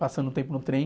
Passando o tempo no trem.